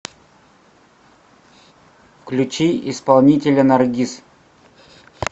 включи исполнителя наргиз